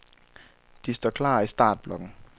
De står klar i startblokken.